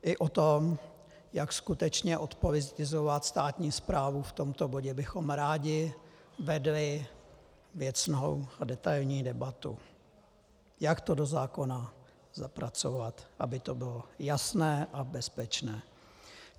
I o tom, jak skutečně odpolitizovat státní správu, v tomto bodě bychom rádi vedli věcnou a detailní debatu, jak to do zákona zapracovat, aby to bylo jasné a bezpečné.